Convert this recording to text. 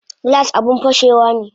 Glass abun fashewane